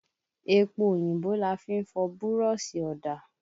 Epo òyìnbó la fi ń fọ búrọ́ṣì ọ̀dà.